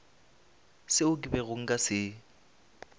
seo ke bego nka se